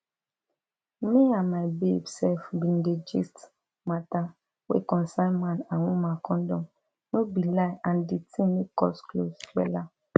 me and my babe sef bin dey gist matter wey concern man and woman condom no be lie and di thing make us close wella